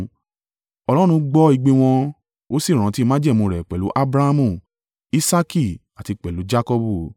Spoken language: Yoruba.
Ọlọ́run gbọ́ igbe wọn, Ó sì rántí májẹ̀mú rẹ̀ pẹ̀lú Abrahamu, Isaaki àti pẹ̀lú Jakọbu.